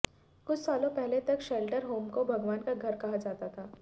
कुछ सालों पहले तक शेल्टर होम को भगवान का घर कहा जाता था